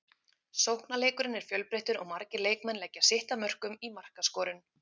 Sóknarleikurinn er fjölbreyttur og margir leikmenn leggja sitt að mörkum í markaskorun.